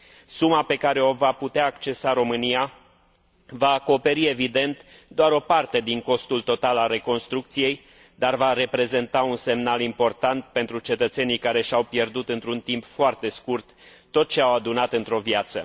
Suma pe care o va putea accesa România va acoperi, evident, doar o parte din costul total al reconstrucției, dar va reprezenta un semnal important pentru cetățenii care și au pierdut într un timp foarte scurt tot ce au adunat într o viață.